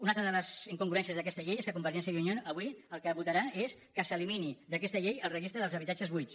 una altra de les incongruències d’aquesta llei és que convergència i unió avui el que votarà és que s’elimini d’aquesta llei el registre dels habitatges buits